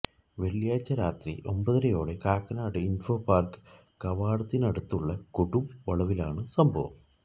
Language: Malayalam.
വെള്ളിയാഴ്ച രാത്രി ഒമ്പതരയോടെ കാക്കനാട് ഇൻഫോപാർക്ക് കവാടത്തിനടുത്തുള്ള കൊടും വളവിലാണ് സംഭവം